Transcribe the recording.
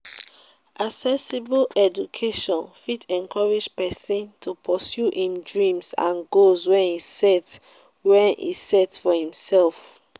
accessible education fit encourage persin to pursue im dreams and goals wey e set wey e set for imself